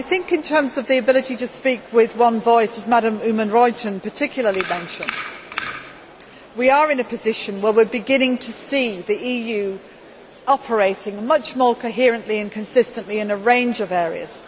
In terms of the ability to speak with one voice as Mrs Oomen Ruijten particularly mentioned we are in a position where we are beginning to see the EU operating much more coherently and consistently in a range of areas.